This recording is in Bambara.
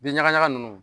Bin ɲagaɲaga ninnu